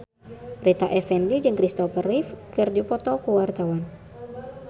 Rita Effendy jeung Kristopher Reeve keur dipoto ku wartawan